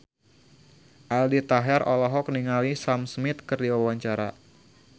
Aldi Taher olohok ningali Sam Smith keur diwawancara